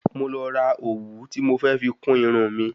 Mo lọ ra òwú ti mó fẹ fi kún Irun mi